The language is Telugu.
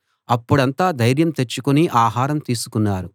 అప్పుడంతా ధైర్యం తెచ్చుకుని ఆహారం తీసుకున్నారు